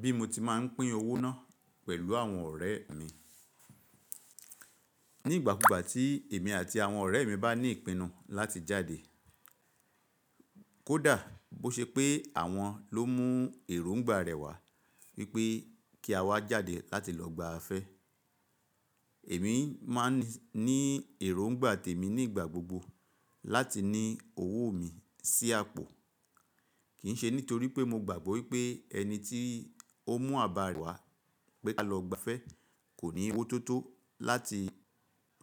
Bí mo ti máa ń pín owó náà pẹ̀lú àwọn ọ̀rẹ́ mi. Ní igbà kúgbà tí èmi àti àwọn ọ̀rẹ́ mi bá ní ìpinnu láti jáde, kódà bó ṣe pé àwọn ló mú èróńgbà rẹ̀ wá wípé kí a wá jáde láti lọ gba afẹ́. Èmi máa ń ní èróńgbà tèmi nígbà gbogbo láti ní owó mi sí àpò. Kì ń ṣe nítorí pé mo gbàgbọ́ wípé ẹni tí ó mú àbá rẹ̀ wá pé kí a lọ gba afẹ́ kò ní owó tó tó láti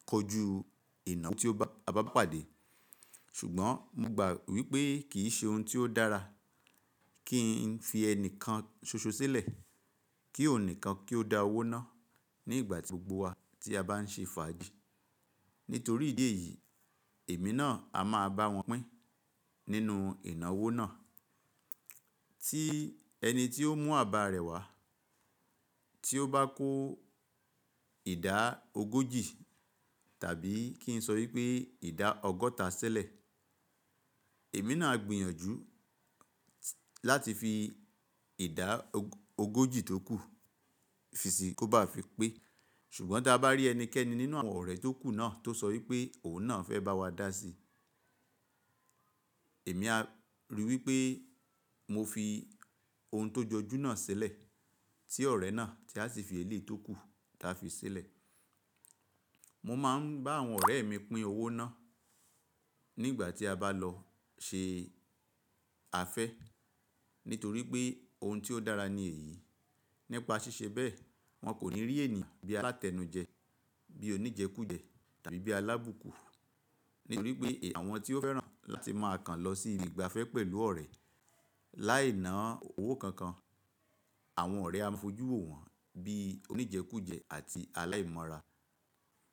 kojú ìnáwó tí o bá pàdé. Ṣùgbọ́n mo gbà wípé kì í ṣe ohun tí ó dára kí n fi ẹnìkan ṣoṣo sílẹ̀, kí òun nìkan kí ó dá owó náà ní ìgbàgbogbo wa tí a bá ń ṣe fàájì. Nítorí ìdí èyí, èmi náà a máa bá wọn pín nínú ìnáwó náà. Tí ẹni tí ó mú àbá rẹ̀ wá, tí ó bá kó ìdá ogójì tàbí kí n sọ wípé ìdá ọgọ́ta sílẹ̀, èmi náà a gbìyànjú láti fi ìdá ogójì tó kù fi sí i kó bá fi pé. Ṣùgbọ́n tí a bá rí ẹnikẹ́ni nínú àwọn ọ̀rẹ́ tó kù náà tó sọ wípé òun náà fẹ́ bá wa dá sí i, èmi a rí wípé mo fi oun tó jọjú náà sílẹ̀ tí ọ̀rẹ́ náà tí a sì fi eléyìí tó kù tí a fi sílẹ̀. Mo máa ń bá àwọn ọ̀rẹ́ mi pín owó náà nígbà tí a bá lọ ṣe afẹ́ nítorí pé oun tí ó dára ní èyí. Nípa ṣíṣe bẹ́ẹ̀, wọn kò ní rí ènìyàn bí alátẹnu jẹ, bí oníjẹkújẹ̀ tàbí bí alábùkù. Nítorí pé àwọn tí ó fẹ́ràn láti máa kan lọ sí ibi ìgbafẹ́ pẹ̀lú ọ̀rẹ́ láì ná owó kankan, àwọn ọ̀rẹ́ á fojú ò wọ́n bí oníjẹkújẹ̀ àti aláìmọ́ra.